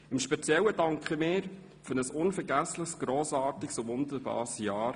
Ganz speziell danke ich für ein unvergessliches, grossartiges und wunderbares Jahr.